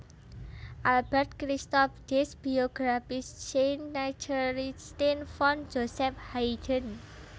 Albert Christoph Dies Biographische Nachrichten von Joseph Haydn